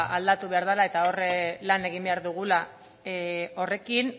aldatu behar dala eta hor lan egin behar dugula horrekin